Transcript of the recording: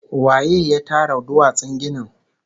Waye ya tara duwatsun ginin?